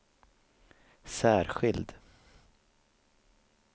särskild